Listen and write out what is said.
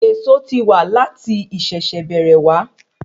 Èso ti wa lati ìṣẹ̀ bẹ̀rẹ̀ wa